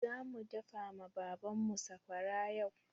Zamu daka ma Baban mu sakwara yau.